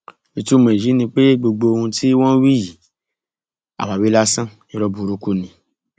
ìtumọ èyí ni pé gbogbo ohun tí wọn ń wí yìí àwáwí lásán irọ burúkú ni